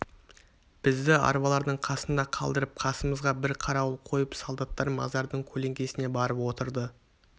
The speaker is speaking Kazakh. бізді арбалардың қасында қалдырып қасымызға бір қарауыл қойып солдаттар мазардың көлеңкесіне барып отырды